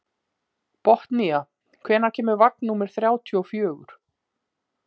Botnía, hvenær kemur vagn númer þrjátíu og fjögur?